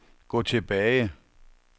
gå tilbage